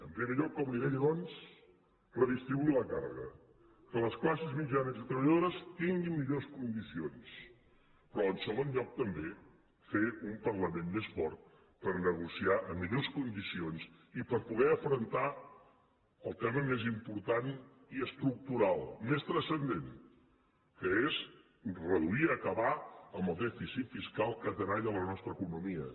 en primer lloc com li deia doncs redistribuir la càrrega que les classes mitjanes i treballadores tinguin millors condicions però en segon lloc també fer un parlament més fort per negociar en millors condicions i per poder afrontar el tema més important i estructural més transcendent que és reduir i acabar amb el dèficit fiscal que tenalla la nostra economia